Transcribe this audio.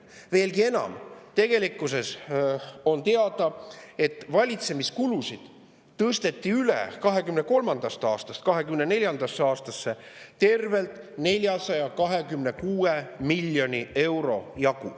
Veelgi enam, on teada, et valitsemiskulusid tõsteti 2023. aastast 2024. aastasse üle tervelt 426 miljoni euro jagu.